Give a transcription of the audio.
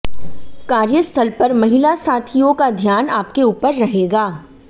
कार्यस्थल पर महिला साथियों का ध्यान आपके ऊपर रहेगा